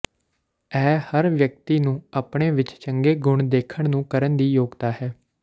ਇਹ ਹਰ ਵਿਅਕਤੀ ਨੂੰ ਆਪਣੇ ਵਿਚ ਚੰਗੇ ਗੁਣ ਦੇਖਣ ਨੂੰ ਕਰਨ ਦੀ ਯੋਗਤਾ ਹੈ